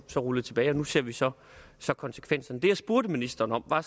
rullet tilbage og nu ser vi så så konsekvenserne det jeg spurgte ministeren om var